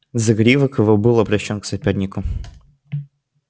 загривок его был обращён к сопернику